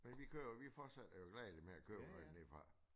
Men vi køber vi fortsætter jo gladeligt med at købe noget dernede fra